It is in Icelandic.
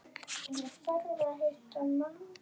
Ég þarf að hitta mann.